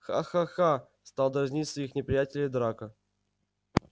ха-ха-ха стал дразнить своих неприятелей драко